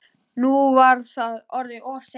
Nú var það orðið of seint.